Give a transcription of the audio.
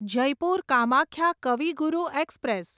Jaipur Kamakhya Kavi Guru express